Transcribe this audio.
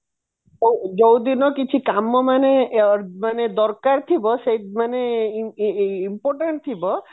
ଆଉ ଯୋଉଦିନ କିଛି କାମ ମାନେ ଦରକାର ଥିବ ସେ ମାନେ important ଥିବ